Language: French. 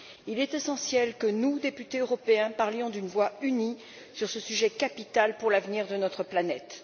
Il est essentiel que nous, députés européens, parlions d'une voix unie sur ce sujet capital pour l'avenir de notre planète.